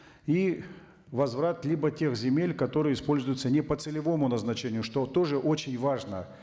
и возврат либо тех земель которые используются не по целевому назначению что тоже очень важно